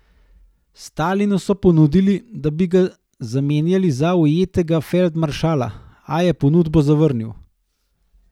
Stalinu so ponudili, da bi ga zamenjali za ujetega feldmaršala, a je ponudbo zavrnil.